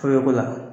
Ko la